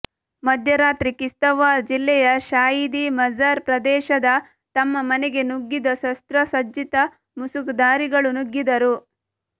ಮಧ್ಯರಾತ್ರಿ ಕಿಶ್ತ್ವಾರ್ ಜಿಲ್ಲೆಯ ಶಾಯೀದಿ ಮಜಾರ್ ಪ್ರದೇಶದ ತಮ್ಮ ಮನೆಗೆ ನುಗ್ಗಿದ ಶಸ್ತ್ರ ಸಜ್ಜಿತ ಮುಸುಕುಧಾರಿಗಳು ನುಗ್ಗಿದರು